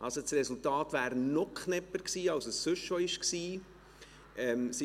Das Resultat wäre also noch knapper gewesen, als es sonst schon war.